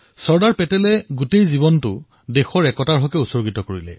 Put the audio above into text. চৰ্দাৰ পেটেলে নিজৰ সমগ্ৰ জীৱন দেশৰ ঐক্যৰ বাবে সমৰ্পিত কৰিছিল